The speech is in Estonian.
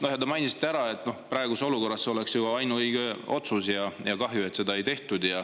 Ja te ju mainisite, et praeguses olukorras see oleks olnud ainuõige otsus ja kahju, et seda ei tehtud.